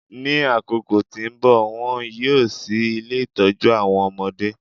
Ní àkókò tí nbọ, wón yíò ṣí ilé itọju awọn ọmọdé